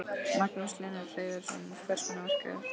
Magnús Hlynur Hreiðarsson: Hvers konar verk er þetta?